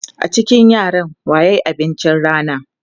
A cikin yaran wa ya yi abincin rana?